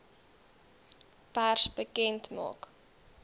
pers bekend maak